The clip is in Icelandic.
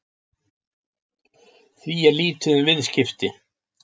Því er lítið um viðskipti